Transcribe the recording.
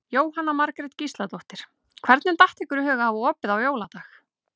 Jóhanna Margrét Gísladóttir: Hvernig datt ykkur í hug að hafa opið á jóladag?